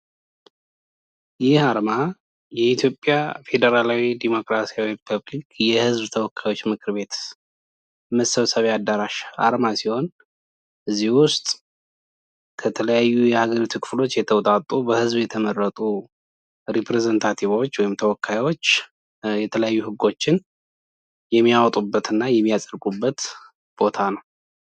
ይህ አርማ የኢትዮጵያ ፌደራላዊ ዴሞክራሲያዊ የህዝብ ተወካዮች መሰብሰቢያ አዳራሽ አርማ ሲሆን ከዚህ ውስጥ ከተለያዩ የሀገሪቱ ክፍሎች የተውጣጡ በህዝብ የተመረጡ ተወካዮች የተለያዩ ህጎችን የሚያወጡበት እና የሚያጸድቁበት ቦታ ነው።